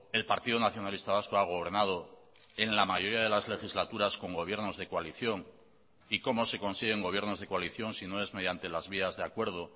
el partido nacionalista vasco ha gobernado en la mayoría de las legislaturas con gobiernos de coalición y cómo se consiguen gobiernos de coalición si no es mediante las vías de acuerdo